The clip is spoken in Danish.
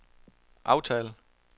aftal